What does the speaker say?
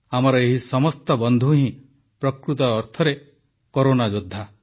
ଆମର ଏହି ସମସ୍ତ ବନ୍ଧୁ ହିଁ ପ୍ରକୃତ ଅର୍ଥରେ କରୋନା ଯୋଦ୍ଧା